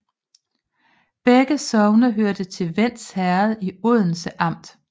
Begge sogne hørte til Vends Herred i Odense Amt